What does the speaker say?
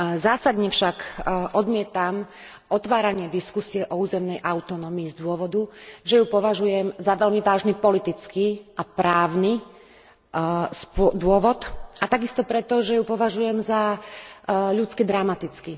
Zásadne však odmietam otváranie diskusie o územnej autonómii z dôvodu, že ju považujem za veľmi vážny politický a právny dôvod, a takisto preto, že ju považujem za ľudsky dramatickú.